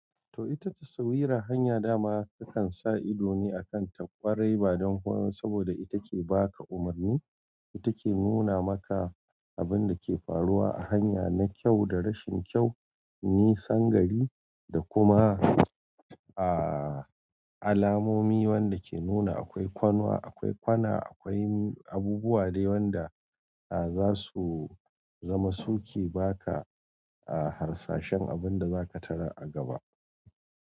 To ita ta sawira hanya dama takan sa ido ne a kan ta kwarai ba don komai saboda ita ke baka umarni, ita ke nuna maka abinda ke faruwa a hanya na kyau da rashin kyau, nisan gari da kuma aa alamomi wanda ke nuna akwai kwanua, akwai kwana akwai mi abubuwa dai wanda za su zama suke baka, a harsashen abunda zaka tarar a gaba.